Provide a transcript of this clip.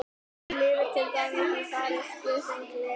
Hún lifir til dæmis í færeysku sem gler.